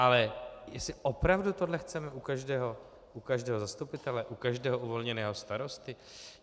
Ale jestli opravdu toto chceme u každého zastupitele, u každého uvolněného starosty?